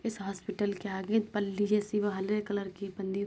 इस हॉस्पिटल के आगे कलर की --